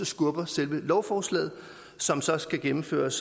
skubber selve lovforslaget som så skal gennemføres